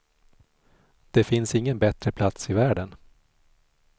Det finns ingen bättre plats i världen.